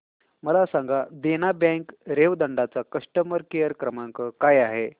मला सांगा देना बँक रेवदंडा चा कस्टमर केअर क्रमांक काय आहे